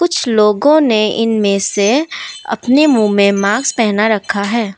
कुछ लोगों ने इनमें से अपने मुंह में मास्क पहना रखा है।